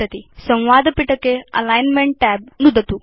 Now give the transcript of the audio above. संवादपिटके alignment tab नुदतु